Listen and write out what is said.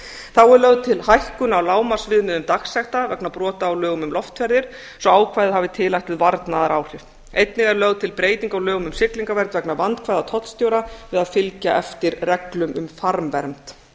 þá er lögð til hækkun á lágmarksviðmiðum dagsekta vegna brota á lögum um loftferðir svo ákvæðið hafi tilætluð varnaðaráhrif einnig er lögð til breyting á lögum um siglingavernd vegna vandkvæða tollstjóra við að fylgja eftir reglum um farmvernd